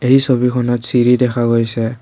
এই ছবিখনত চিৰি দেখা গৈছে।